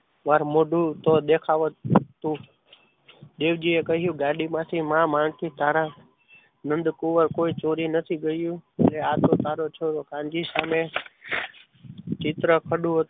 માર મોઢું તો દેખાતું જ દેવજીએ કહ્યું કે ગાડીમાંથી માં માંગતી તારા નંદકુવર કોઈ ચોરી નથી ગયું આ તો તારો છોરો કાનજી સામે ચિત્ર ખાધું હતું.